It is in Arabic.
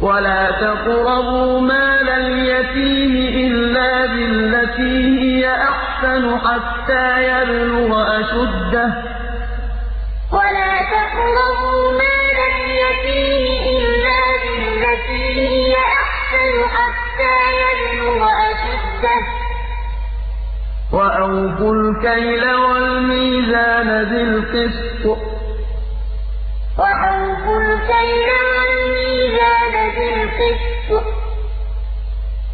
وَلَا تَقْرَبُوا مَالَ الْيَتِيمِ إِلَّا بِالَّتِي هِيَ أَحْسَنُ حَتَّىٰ يَبْلُغَ أَشُدَّهُ ۖ وَأَوْفُوا الْكَيْلَ وَالْمِيزَانَ بِالْقِسْطِ ۖ